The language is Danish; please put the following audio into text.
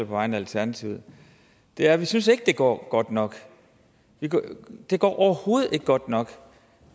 vegne af alternativet er at vi synes ikke det går godt nok det går overhovedet ikke godt nok